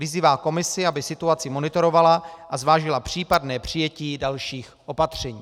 Vyzývá Komisi, aby situaci monitorovala a zvážila případné přijetí dalších opatření.